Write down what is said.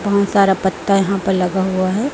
बहों सारा पत्ता यहां पर लगा हुआ है।